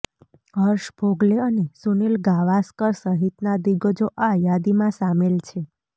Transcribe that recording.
હર્ષ ભોગલે અને સુનિલ ગાવાસ્કર સહિતના દિગ્ગજો આ યાદીમાં સામેલ છે